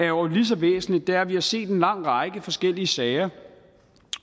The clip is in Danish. jo er lige så væsentligt er at vi har set en lang række forskellige sager